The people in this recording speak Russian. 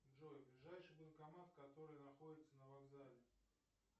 джой ближайший банкомат который находится на вокзале